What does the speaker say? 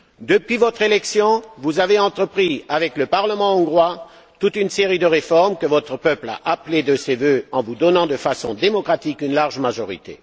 Depuis votre élection, vous avez entrepris, avec le parlement hongrois, toute une série de réformes que votre peuple a appelées de ses vœux en vous donnant de façon démocratique une large majorité.